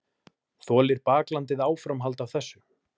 Þolir baklandið áframhald af þessu?